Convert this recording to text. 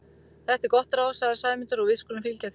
Þetta er gott ráð sagði Sæmundur, og við skulum fylgja því.